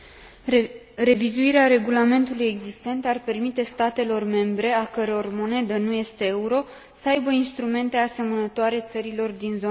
Revizuirea regulamentului existent ar permite statelor membre a căror monedă nu este euro să aibă instrumente asemănătoare țărilor din zona euro.